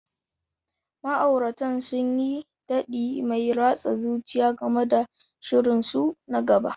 Ma'auratan sun yi taɗi mai ratsa zuciya game da shirinsu na gaba.